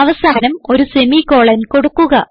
അവസാനം ഒരു സെമിക്കോളൻ കൊടുക്കുക